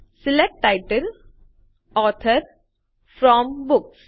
select title author from books